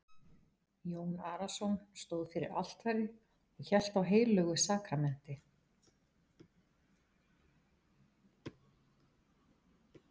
Jón Arason stóð fyrir altari og hélt á heilögu sakramenti.